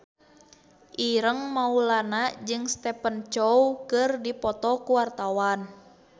Ireng Maulana jeung Stephen Chow keur dipoto ku wartawan